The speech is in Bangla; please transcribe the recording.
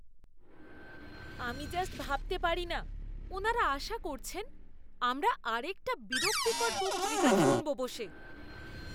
আমি জাস্ট ভাবতে পারিনা ওনারা আশা করছেন আমরা আরেকটা বিরক্তিকর বক্তৃতা শুনব বসে!